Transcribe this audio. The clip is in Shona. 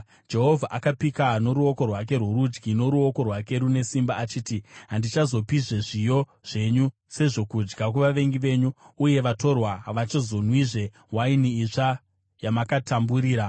Jehovha akapika noruoko rwake rworudyi, noruoko rwake rune simba achiti, “Handichazopizve zviyo zvenyu sezvokudya kuvavengi venyu, uye vatorwa havachazonwizve waini itsva yamakatamburira;